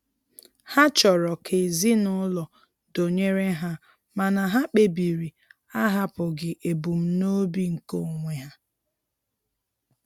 Ha chọrọ ka ezinụlọ dụnyere ha mana ha kpebiri ahapụghị ebumnobi nke onwe ha.